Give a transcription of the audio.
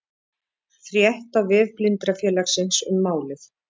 Frétt á vef Blindrafélagsins um málið